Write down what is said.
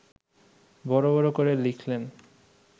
বড় বড় করে লিখলেন